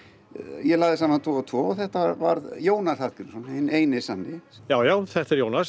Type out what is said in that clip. ég lagði saman tvo og tvo og þetta varð Jónas Hallgrímsson hinn eini sanni já já þetta er Jónas